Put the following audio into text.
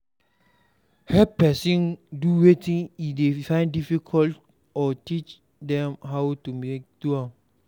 Help persin do wetin e de find difficult or teach dem how to take do am